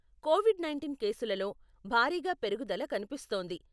Covid nineteen కేసులలో భారీగా పెరుగుదల కనిపిస్తోంది.